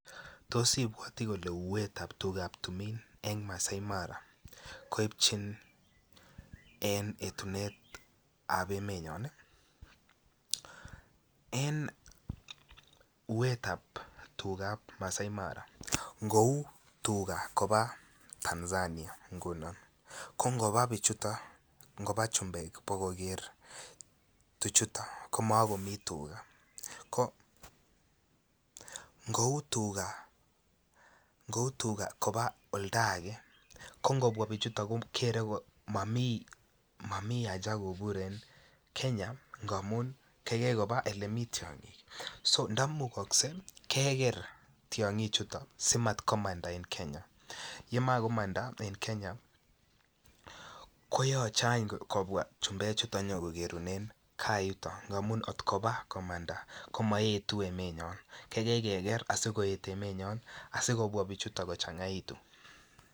Tos ibwati kole uuetab tugab timin eng maasai mara koipchini en etunetab emenyon en uuetab tugab maasai mara ngou tuga koba Tanzania ngunon ko ngoba chumbek koba koker tuchuto koma komi tuga ko ngou tuga koba oldo age ko ngobwa bichuto ko kore ko momi haja kobur en Kenya kaigai koba yemi tiongik ndomukogsei keker tiongichu si mat komanda en Kenya koyoche kobwa chumbek konyo koker en yuto komoetu emenyon kaikai keger asikoet emenyon asi kobwa bichuto kochangaitu